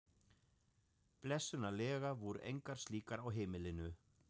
Blessunarlega voru engar slíkar á heimilinu.